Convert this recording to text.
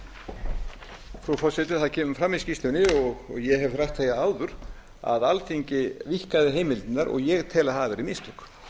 frú forseti það kemur fram í skýrslunni og ég hef rætt það áður að alþingi víkkaði heimildirnar og ég tel að hafi verið mistök